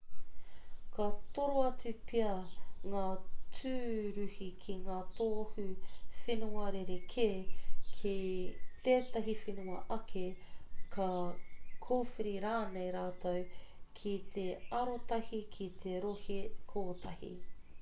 ka toro atu pea ngā tūruhi ki ngā tohu whenua rerekē ki tētahi whenua ake ka kōwhiri rānei rātou ki te arotahi ki te rohe kotahi